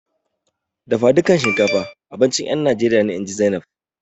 Dafadukan shinkafa abincin ƴan Najeriya ne, inji Zainab.